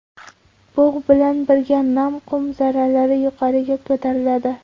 Bug‘ bilan birga nam qum zarralari yuqoriga ko‘tariladi.